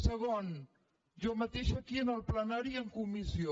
segon jo mateixa aquí en el plenari i en comissió